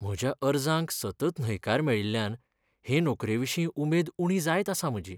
म्हज्या अर्जांक सतत न्हयकार मेळिल्ल्यान हे नोकरेविशीं उमेद उणी जायत आसा म्हजी.